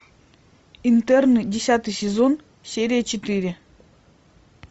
интерны десятый сезон серия четыре